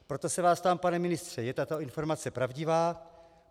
Proto se vás ptám, pane ministře: Je tato informace pravdivá?